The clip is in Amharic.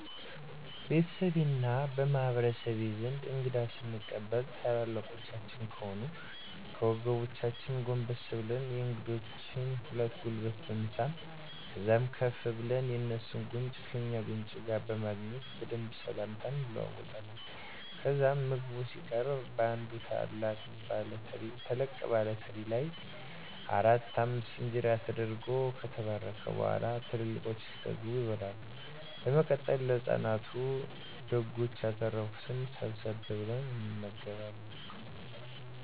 ቤተሰቤ እና በማህበረሰቤ ዘንድ እንግዳ ስንቀበል ትላልቆቻችን ከሆኑ ከወገባችን ጎንበስ ብለን የእንግዶችን ሁለቱንም ጉልበት በመሳም ከዛም ከፍ ብለን የእንሱን ጉንጭ ከእኛ ጉንጭ ጋር በማገናኘት በደንብ ስላምታ እንለዋወጣለን። ከዛም ምግብ ሲቀረብ በአንድ ተለቅ ባለ ትሪ ላይ አራት አምስት እንጀራ ተደርጎ ከተባረከ በኋላ ትላልቆቹ እስኪጠገቡ ይበላል። በመቀጠል ለህፃናቱ ደጎች ያተረፋትን ሰብሰብ ብለን እንመገባለን።